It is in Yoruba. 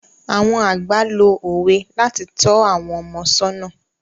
Àwọn àgbà lo òwe láti tọ́ àwọn ọmọ sọ́nà.